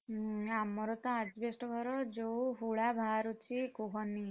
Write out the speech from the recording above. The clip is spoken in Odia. ହୁଁ ଆମର ତ asbestos ଯୋଉ ହୁଳା ଭାରୁଛି କୁହନି।